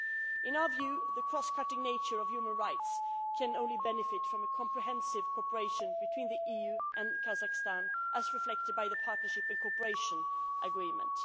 In our view, the cross cutting nature of human rights can only benefit from comprehensive cooperation between the EU and Kazakhstan, as reflected by the Partnership and Cooperation Agreement.